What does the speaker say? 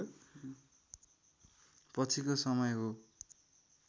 पछिको समय हो